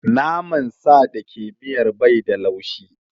Naman sa da ke miyar bai da laushi.